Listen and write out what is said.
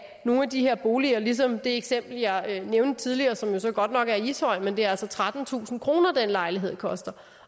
nogle af de her boliger ligesom i det eksempel jeg nævnte tidligere som jo godt nok er i ishøj men det er altså trettentusind kr den lejlighed koster